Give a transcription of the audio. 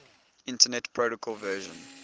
internet protocol version